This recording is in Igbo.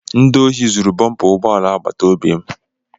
Ndị ohi zuru bọmpa ụgbọala agbataobi m.